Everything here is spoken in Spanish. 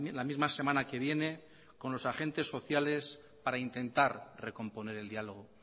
la misma semana que viene con los agentes sociales para intentar recomponer el diálogo